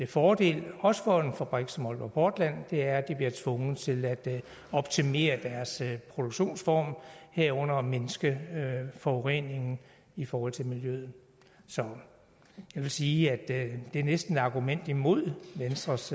fordel også for en fabrik som aalborg portland er at de bliver tvunget til at optimere deres produktionsform herunder mindske forureningen i forhold til miljøet så jeg vil sige at det næsten er et argument imod venstres